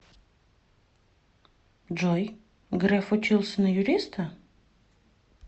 джой греф учился на юриста